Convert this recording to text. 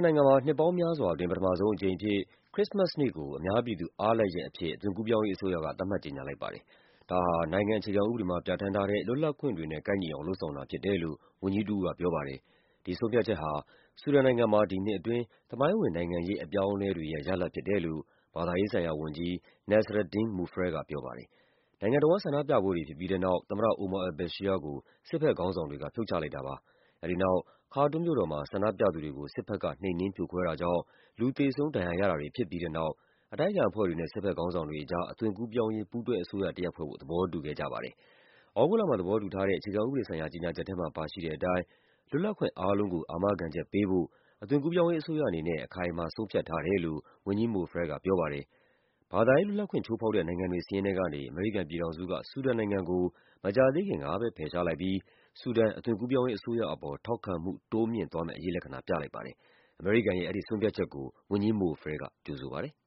နိုင်ငံမှာ နှစ်ပေါင်းများစွာအတွင်း ပထမဆုံးအကြိမ်အဖြစ် ခရစ္စမတ်စ်နေ့ကို အများပြည်သူအားလပ်ရက်အဖြစ် အသွင် ကူးပြောင်းရေးအစိုးရက သတ်မှတ် ကြေညာလိုက်ပါတယ်။ ဒါဟာ နိုင်ငံအခြေခံဥပဒေမှာ ပြဌာန်းထားတဲ့ လွတ်လပ်ခွင့်တွေနဲ့ ကိုက်ညီအောင် လုပ်ဆောင်တာဖြစ်တယ်လို့ ဝန်ကြီးတဦးက ပြောပါတယ်။ ဒီဆုံးဖြတ်ချက်ဟာ ဆူဒန်နိုင်ငံမှာ ဒီနှစ်အတွင်း သမိုင်းဝင် နိုင်ငံရေးအပြောင်းအလဲတွေရဲ့ ရလဒ်ဖြစ်တယ်လို့ ဘာသာရေးဆိုင်ရာ ဝန်ကြီး Nasraddeen Mufreh က ပြောပါတယ်။ နိုင်ငံတဝန်း ဆန္ဒပြပွဲတွေဖြစ်ပြီးတဲ့နောက် သမ္မတ Omar al Bashir ကို စစ်ဘက်ခေါင်းဆောင်တွေက ဖြုတ်ချလိုက်တာပါ။ အဲဒီနောက် ခါတွမ်မြို့တော်မှာ ဆန္ဒပြသူတွေကို စစ်ဘက်က နှိမ်နင်းဖြိုခွဲတာ ကြောင့် လူသေဆုံးဒဏ်ရာရတာတွေ ဖြစ်ပြီးတဲ့နောက် အတိုက်အခံအဖွဲ့တွေနဲ့ စစ်ဘက် ခေါင်းဆောင်တွေကြား အသွင်ကူးပြောင်း ရေး ပူးတွဲအစိုးရတရပ်ဖွဲ့ဖို့ သဘောတူခဲ့ကြပါတယ်။ သြဂုတ်လမှာ သဘောတူထားတဲ့ အခြေခံဥပဒေဆိုင်ရာ ကြေညာချက်ထဲမှာ ပါရှိတဲ့အတိုင်း လွတ်လပ်ခွင့်အားလုံးကို အာမခံချက် ပေးဖို့ အသွင်ကူးပြောင်းရေး အစိုးရအနေနဲ့ အခိုင်အမာ ဆုံးဖြတ်ထားတယ်လို့ ဝန်ကြီး Mofreh ကပြောပါတယ်။ ဘာသာရေးလွတ်လပ်ခွင့် ချိုးဖောက်တဲ့ နိုင်ငံတွေစာရင်းထဲကနေ အမေရိကန်ပြည်ထောင်စုက ဆူဒန်နိုင်ငံကို မကြာသေးခင်ကပဲ ဖယ်ရှားလိုက်ပြီး ဆူဒန် အသွင်ကူးပြောင်းရေးအစိုးရအပေါ် ထောက်ခံမှု တိုးမြှင့်သွားမယ့် အရိပ်လက္ခဏာ ပြလိုက်ပါတယ်။အမေရိကန်ရဲ့ အဲဒီဆုံးဖြတ်ချက်ကို ဝန်ကြီး Mofreh က ကြိုဆိုပါတယ်။